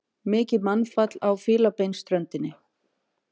Mikið mannfall á Fílabeinsströndinni